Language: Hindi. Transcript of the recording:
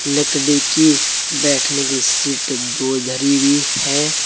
लकड़ी की बैठने की सीट दो धरी भी है।